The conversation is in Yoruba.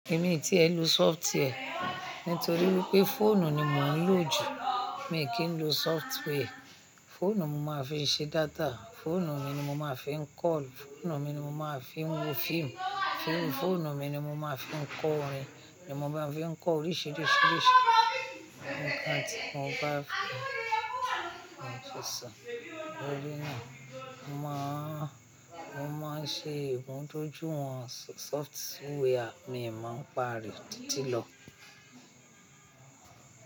Èmi tí ẹ́ n lo software nítorí wípé fóònù ni mò ń lò jù. Mi kì í lo software. Fóònù mo máa fi ṣe data, fóònù mi ni mo máa fi ń call, fóònù mi ni mo máa fi ń wo fíìmù, fóònù mi ni mo máa fi ń kọ orin, ni mo máa fi ń kọ oríṣiríṣi nǹkan tí mo bá fẹ́ sọ. O lé ní, mo máa, mo máa ṣe ìtọ́jú àwọn software mi, màá pàrì títí lọ.